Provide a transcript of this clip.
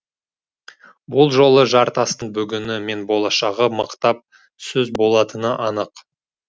бұл жолы жартастың бүгіні мен болашағы мықтап сөз болатыны анық